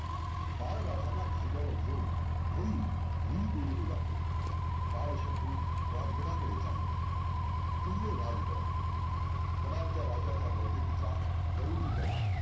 बाळ राजांना खांद्यावर घेऊन भोई भुई तुडवू लागले. बाळ शंभू राज गडा कडे चालले. किल्ले राजगड गडाच्या राजाच्या बैठकीचा गारुडी गडा